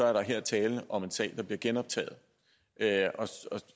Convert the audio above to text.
er der her tale om en sag der bliver genoptaget